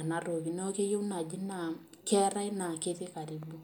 enatoki neeku keyieu naaji naa keetae ketii karibu.